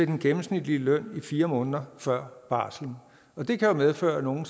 den gennemsnitlige løn i fire måneder før barslen og det kan medføre at nogle